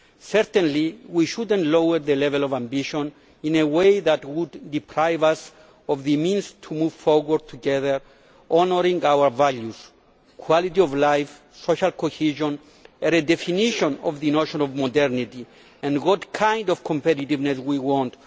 Certainly we should not lower the level of ambition in a way which would deprive us of the means to move forward together honouring our values quality of life, social cohesion, a redefinition of the notion of modernity and what kind of competitiveness we want